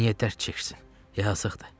Niyə dərd çəksin, yazıqdır.